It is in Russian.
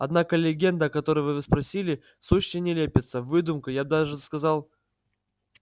однако легенда о которой вы спросили сущая нелепица выдумка я даже сказал